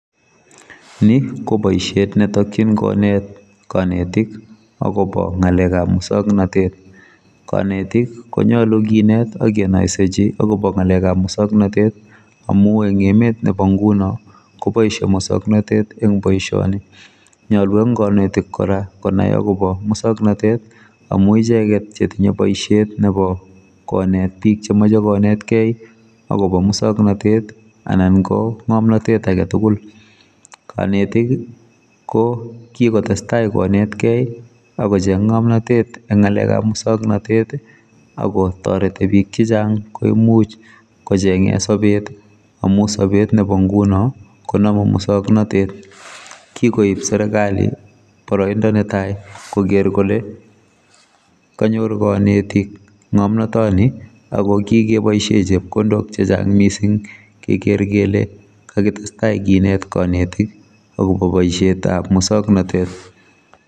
Ni koboisiet netokyin konet kanetik akobo ngalekab muswoknatet kanetik konyalu kinet akenoisechi akobo ngalekab musoknotet amu eng emet nebo nguno koboisie musoknotet eng boisioni nyalu eng konetik kora konai akobo muswoonotet amu icheget chetinye boisiet nebo konet bik chemoche konetkei akobo muswoknotet anan ko ngomnotet aketugul kanetik ko kikotestai konet kei akocheng ngomnotet eng ngalekab muswoknotet akotoret bik chechang koimuch kochenge sobet amu sobet nebo nguno konamu muswoknotet kikoib serikali boroindo netai koker kole kanyor kanetik ngomnotoni akokikeboisie chepkondok chechang mising keker kele kakitestai kinet kanetik akobo boisietab muswoknotet .